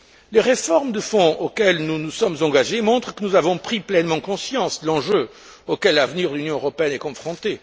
Les réformes de fond auxquelles nous nous sommes engagés montrent que nous avons pris pleinement conscience de l'enjeu auquel l'avenir de l'Union européenne est confronté.